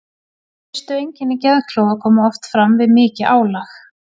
Fyrstu einkenni geðklofa koma oft fram við mikið álag.